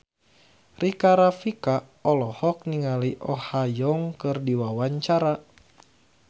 Rika Rafika olohok ningali Oh Ha Young keur diwawancara